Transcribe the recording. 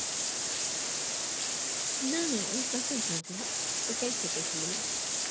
ના ના એવું કશું જ નથી તું કઈ સકે છે મને